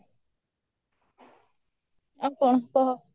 ଆଉ କଣ କହ